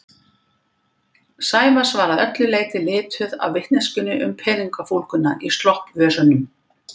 Sævars var að öllu leyti lituð af vitneskjunni um peningafúlguna í sloppvösunum.